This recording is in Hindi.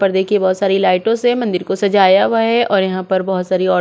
पर देखिये बहोत सारी लाइटों से मंदिर को सजाया हुया है और यहाँ पर बहुत सारी औरते भी--